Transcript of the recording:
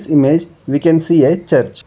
image we can see a church.